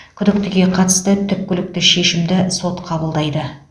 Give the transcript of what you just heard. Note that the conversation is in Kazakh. күдіктіге қатысты түпкілікті шешімді сот қабылдайды